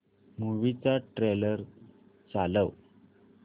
movie चा trailer चालव